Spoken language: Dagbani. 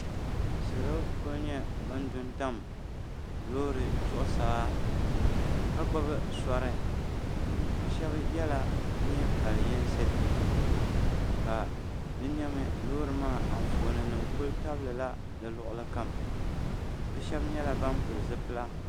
salo kuli nyɛ ban dutam lori zuɣ' saa ka gbabi sori be shɛba yɛla nibali yinsi ka di nyɛmi lori maa anƒɔni nim kuli tabila di kuɣ' li kam be shɛba nyɛla ban pɛli zibila